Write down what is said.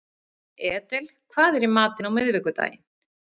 Edel, hvað er í matinn á miðvikudaginn?